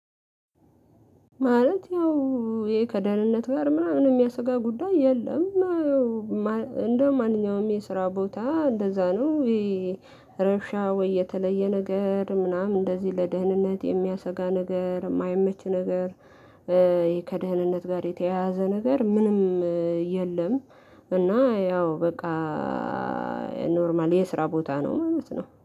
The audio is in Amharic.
ማለት ያው ይሄ ከደህንነት ጋር ምናምን የሚያስጋ ጉዳይ የለም። እንደማንኛውም የስራ ቦታ እንደዛ ነው። ይሄ ረብሻ ወይ የተለየ ነገር ምናምን እንደዚህ ለደህንነት የሚያሰጋ ነገር የማይመች ነገር። ከደህንነት ጋር የተያያዘ ነገር ምንም የለም። እና ያው በቃ ኖርማል የስራ ቦታ ነው ማለት ነው